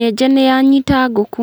Nyenje nĩyanyita ngũkũ.